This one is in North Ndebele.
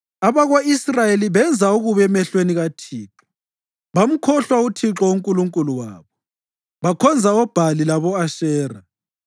Abako-Israyeli benza okubi emehlweni kaThixo; bamkhohlwa uThixo uNkulunkulu wabo bakhonza oBhali labo-Ashera.